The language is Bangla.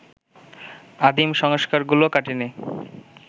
আদিম সংস্কারগুলো কাটেনি